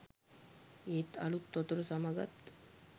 ඒත් අලුත් වතුර සමගත්